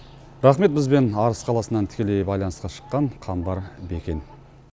рахмет бізбен арыс қаласынан тікелей байланысқа шыққан қамбар бекен